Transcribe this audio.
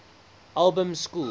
albans school